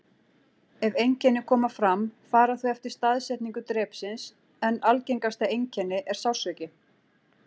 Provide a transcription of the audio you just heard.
Ef einkenni koma fram fara þau eftir staðsetningu drepsins, en algengasta einkenni er sársauki.